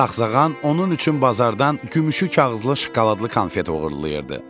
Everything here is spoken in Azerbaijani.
Sağsağan onun üçün bazardan gümüşü kağızlı şokoladlı konfet uğurlayırdı.